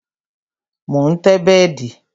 Mo ń tẹ́ bẹ́dì